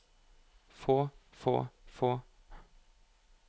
få få få